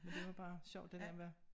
Men det var bare sjovt det der med